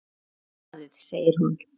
Mjög hlaðið segir hún.